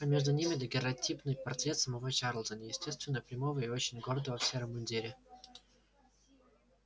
а между ними дагерротипный портрет самого чарлза неестественно прямого и очень гордого в сером мундире